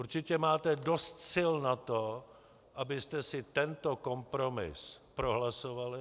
Určitě máte dost sil na to, abyste si tento kompromis prohlasovali.